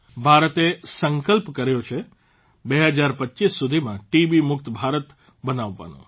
ભારતે સંકલ્પ કર્યો છે 2025 સુધીમાં ટીબી મુક્ત ભારત બનાવવાનો